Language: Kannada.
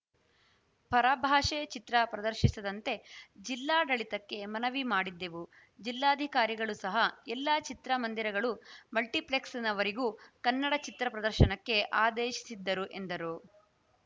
ಪರಭಾಷೆ ಚಿತ್ರ ಪ್ರದರ್ಶಿಸದಂತೆ ಜಿಲ್ಲಾಡಳಿತಕ್ಕೆ ಮನವಿ ಮಾಡಿದ್ದೆವು ಜಿಲ್ಲಾಧಿಕಾರಿಗಳು ಸಹ ಎಲ್ಲಾ ಚಿತ್ರ ಮಂದಿರಗಳು ಮಲ್ಟಿಪ್ಲೆಕ್ಸ್‌ನವರಿಗೂ ಕನ್ನಡ ಚಿತ್ರ ಪ್ರದರ್ಶನಕ್ಕೆ ಆದೇಶಿಸಿದ್ದರು ಎಂದರು